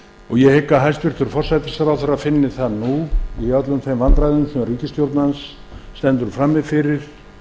mánuðina ég hygg að hæstvirtur forsætisráðherra finni það nú í öllum þeim vandræðum sem ríkisstjórn hans stendur frammi fyrir